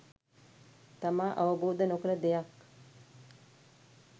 තමා අවබෝද නොකළ දෙයක්